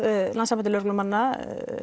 Landssambandi lögreglumanna